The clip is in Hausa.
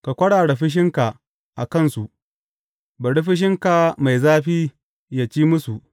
Ka kwarara fushinka a kansu; bari fushinka mai zafi yă ci musu.